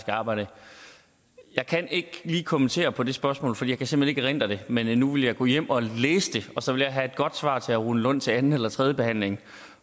arbejde jeg kan ikke lige kommentere på det spørgsmål for jeg kan simpelt hen ikke erindre det men nu vil jeg gå hjem og læse det og så vil jeg have et godt svar til herre rune lund til anden eller tredjebehandlingen